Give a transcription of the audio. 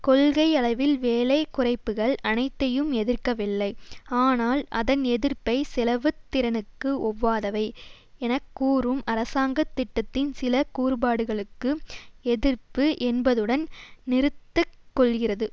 கொள்கை அளவில் வேலை குறைப்புக்கள் அனைத்தையும் எதிர்க்கவில்லை ஆனால் அதன் எதிர்ப்பை செலவு திறனுக்கு ஒவ்வாதவை என கூறும் அரசாங்க திட்டத்தின் சில கூறுபாடுகளுக்கு எதிர்ப்பு என்பதுடன் நிறுத்தக் கொள்ளுகிறது